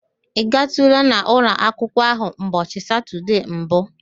Ị gaatụla n'ụlọ akwụkwụọ ahụ ụbọchị Satọde mbụ?